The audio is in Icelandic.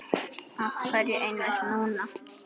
Af hverju einmitt núna?